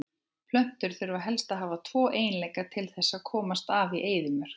Plöntur þurfa helst að hafa tvo eiginleika til þess að komast af í eyðimörk.